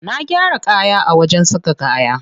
Na gyara kaya a wajen saka kaya.